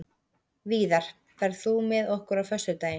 Víðar, ferð þú með okkur á föstudaginn?